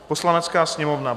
"Poslanecká sněmovna